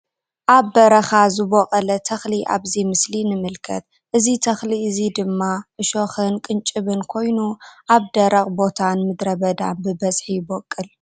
ኣብ በረካ ዝቦቀለ ተክሊ ኣብዚ ምስሊ ንምልከት እዚ ተክሊ እዚ ድማ ዕሾክን ቅንጭብን ኮይኑ ኣብ ደረቅ ቦታን ምድረ በዳን ብበዝሒ ይቦቅል